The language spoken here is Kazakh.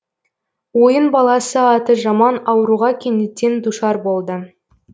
ойын баласы аты жаман ауруға кенеттен душар болды